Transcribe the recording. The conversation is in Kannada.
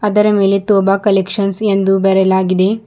ಅದರ ಮೇಲೆ ತೋಬಾ ಕಲೆಕ್ಷನ್ಸ್ ಎಂದು ಬರೆಯಲಾಗಿದೆ.